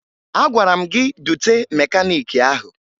Agwara m gị dute mekaniiki ahụ!